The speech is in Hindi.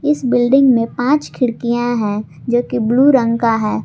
इस बिल्डिंग में पांच खिड़कियां है जो की ब्लू रंग का है।